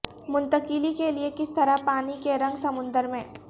منتقلی کے لئے کس طرح پانی کے رنگ سمندر میں